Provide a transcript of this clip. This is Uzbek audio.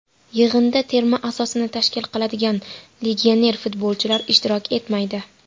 Yig‘inda terma asosini tashkil qiladigan legioner futbolchilar ishtirok etmaydi.